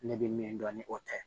Ne bɛ min dɔn ni o tɛ